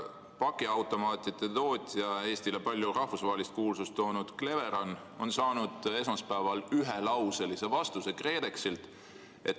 Pakiautomaatide tootja, Eestile palju rahvusvahelist kuulsust toonud Cleveron, on saanud esmaspäeval ühelauselise vastuse KredExilt.